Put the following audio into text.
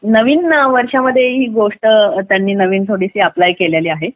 नवीन वर्षात त्यांनी ही गोष्ट जिथे आपल्या केलेली आहे